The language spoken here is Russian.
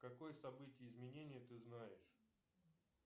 какое событие изменения ты знаешь